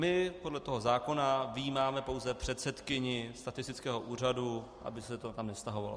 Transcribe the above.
My podle toho zákona vyjímáme pouze předsedkyni statistického úřadu, aby se to tam nevztahovalo.